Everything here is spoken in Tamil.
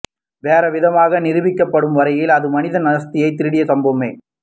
வேறு விதமாக நிரூபிக்கப்படும் வரையில் அது மனித அஸ்தியைத் திருடிய சம்பவமே